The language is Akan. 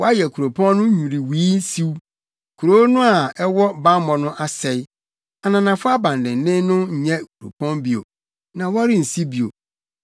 Woayɛ kuropɔn no nnwiriwii siw, kurow no a ɛwɔ bammɔ no asɛe; ananafo abandennen no nyɛ kuropɔn bio; na wɔrensi bio.